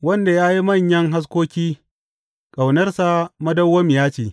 Wanda ya yi manyan haskoki, Ƙaunarsa madawwamiya ce.